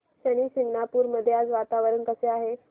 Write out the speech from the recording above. शनी शिंगणापूर मध्ये आज वातावरण कसे आहे